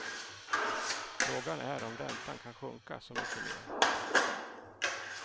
Frågan är om räntan kan sjunka så mycket mer.